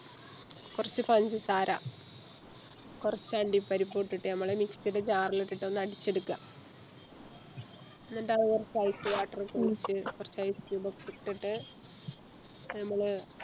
കൊർച്ച് പഞ്ചസാര കൊർച്ച് അണ്ടിപ്പരിപ്പ് ഇട്ടിട്ട് ഞമ്മള് Mix ടെ Jar ല് ഇട്ടിട്ട് ഒന്നടിച്ചെടിക്ക എന്നിട്ട ആ കൊർച്ച് Ice water കൊർച്ച് Ice cube ഒക്കെ ഇട്ടിട്ട്